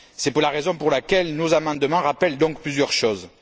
C'est la raison pour laquelle nos amendements rappellent donc plusieurs choses.